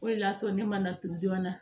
O de y'a to ne mana to joona